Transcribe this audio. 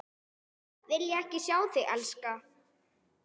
Vilja ekki sjá þig elska.